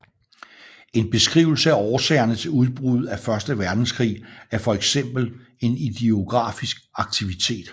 En beskrivelse af årsagerne til udbruddet af første verdenskrig er for eksempel en idiografisk aktivitet